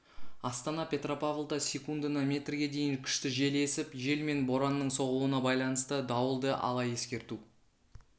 астана петропавлда секундына метрге дейін күшті жел есіп жел мен боранның соғуына байланысты дауылды ала ескерту